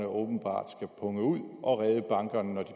åbenbart skal punge ud og redde bankerne når de